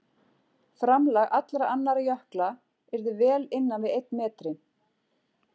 Framlag allra annarra jökla yrði vel innan við einn metri.